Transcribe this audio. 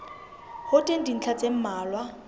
ho teng dintlha tse mmalwa